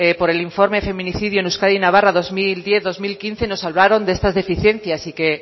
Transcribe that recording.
por el informe feminicidio en euskadi y navarra dos mil diez dos mil quince nos hablaron de estas deficiencias y que